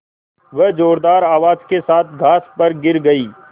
वह ज़ोरदार आवाज़ के साथ घास पर गिर गई